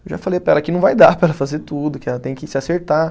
Eu já falei para ela que não vai dar para ela fazer tudo, que ela tem que se acertar.